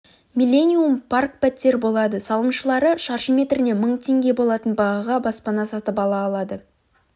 миллениум парк пәтер болады салымшылары шаршы метріне мың теңге болатын бағаға баспана сатып ала алады